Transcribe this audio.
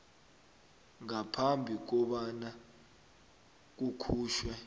ngaphambi kobana kukhutjhwe